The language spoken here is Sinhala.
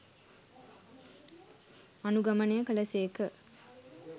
අනුගමනය කළ සේක.